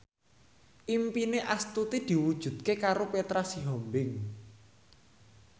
impine Astuti diwujudke karo Petra Sihombing